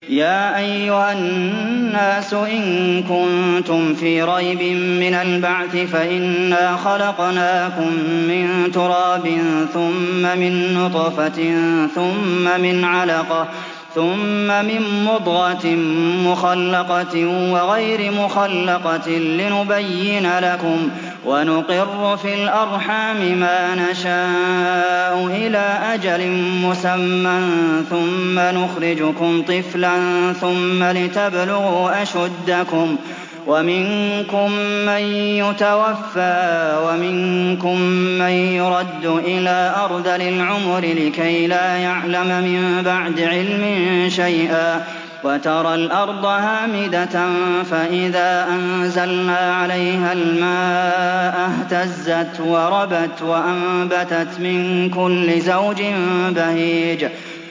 يَا أَيُّهَا النَّاسُ إِن كُنتُمْ فِي رَيْبٍ مِّنَ الْبَعْثِ فَإِنَّا خَلَقْنَاكُم مِّن تُرَابٍ ثُمَّ مِن نُّطْفَةٍ ثُمَّ مِنْ عَلَقَةٍ ثُمَّ مِن مُّضْغَةٍ مُّخَلَّقَةٍ وَغَيْرِ مُخَلَّقَةٍ لِّنُبَيِّنَ لَكُمْ ۚ وَنُقِرُّ فِي الْأَرْحَامِ مَا نَشَاءُ إِلَىٰ أَجَلٍ مُّسَمًّى ثُمَّ نُخْرِجُكُمْ طِفْلًا ثُمَّ لِتَبْلُغُوا أَشُدَّكُمْ ۖ وَمِنكُم مَّن يُتَوَفَّىٰ وَمِنكُم مَّن يُرَدُّ إِلَىٰ أَرْذَلِ الْعُمُرِ لِكَيْلَا يَعْلَمَ مِن بَعْدِ عِلْمٍ شَيْئًا ۚ وَتَرَى الْأَرْضَ هَامِدَةً فَإِذَا أَنزَلْنَا عَلَيْهَا الْمَاءَ اهْتَزَّتْ وَرَبَتْ وَأَنبَتَتْ مِن كُلِّ زَوْجٍ بَهِيجٍ